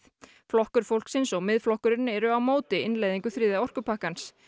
flokkur fólksins og Miðflokkurinn eru á móti innleiðingu þriðja orkupakkans